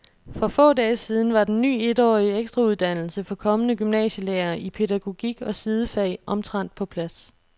For få dage siden var den ny etårige ekstrauddannelse for kommende gymnasielærere i pædagogik og sidefag omtrent på plads.